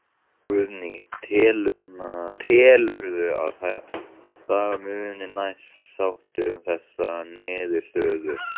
Guðný: Telurðu að það muni nást sátt um þessa niðurstöðu?